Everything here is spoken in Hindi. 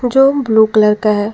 जो ब्लू कलर का है।